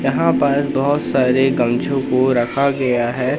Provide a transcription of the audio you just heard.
यहां पर बहुत सारे गमछों को रखा गया है।